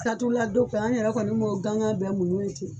la don fɛ an yɛrɛ kɔni b'o gangan bɛɛ muɲun ye ten.